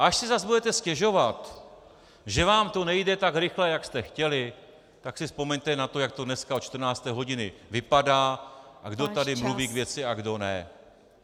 A až si zas budete stěžovat, že vám to nejde tak rychle, jak jste chtěli, tak si vzpomeňte na to, jak to dneska od 14. hodiny vypadá a kdo tady mluví k věci a kdo ne.